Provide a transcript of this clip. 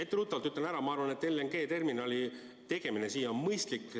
Etteruttavalt ütlen ära, et minu arvates LNG terminali tegemine siia on mõistlik.